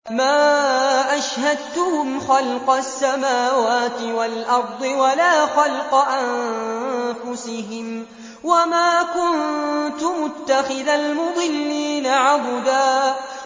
۞ مَّا أَشْهَدتُّهُمْ خَلْقَ السَّمَاوَاتِ وَالْأَرْضِ وَلَا خَلْقَ أَنفُسِهِمْ وَمَا كُنتُ مُتَّخِذَ الْمُضِلِّينَ عَضُدًا